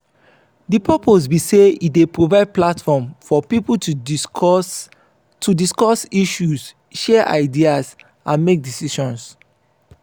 di purpose be say e dey provide platform for people to discuss to discuss issues share ideas and make decisions.